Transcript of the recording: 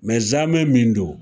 Mɛ zamɛ min don